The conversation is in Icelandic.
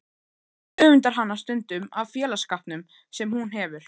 Edda öfundar hana stundum af félagsskapnum sem hún hefur.